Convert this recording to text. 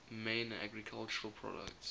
main agricultural products